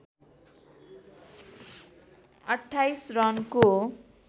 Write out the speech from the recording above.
२८ रनको